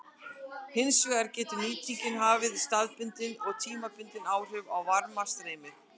Hins vegar getur nýtingin haft staðbundin og tímabundin áhrif á varmastreymið.